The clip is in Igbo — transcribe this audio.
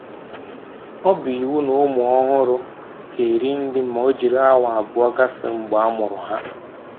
Ọ bụ iwu n'ụmụ ọhụrụ ga-eri nri ma o jiri awa abụọ gafee mgbe a mụrụ ha